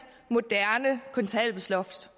moderne kontanthjælpsloft